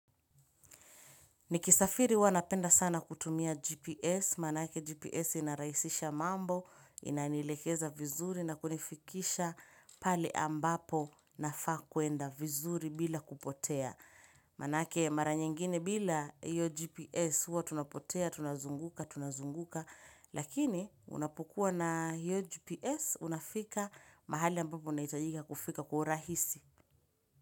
Nikisafiri huwa napenda sana kutumia GPS, manake GPS inarahisisha mambo, inanilekeza vizuri na kunifikisha pale ambapo nafaa kuenda vizuri bila kupotea. Manake mara nyingine bila hiyo GPS huwa tunapotea, tunazunguka, tunazunguka, lakini unapokua na hiyo GPS, unafika mahali ambapo unahitajika kufika kwa urahisi.